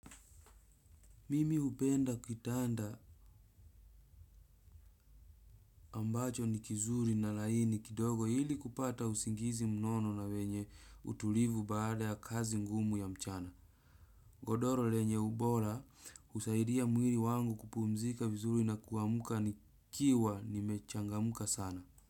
Mimi hupenda kitanda ambacho ni kizuri na laini kidogo ili kupata usingizi mnono na wenye utulivu baada ya kazi ngumu ya mchana. Godoro lenye ubora husaidia mwili wangu kupumzika vizuri na kuamka nikiwa nimechangamka sana.